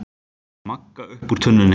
Magga upp úr tunnunni.